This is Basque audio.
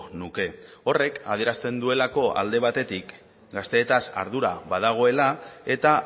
nuke horrek adierazten duelako alde batetik gazteetaz ardura badagoela eta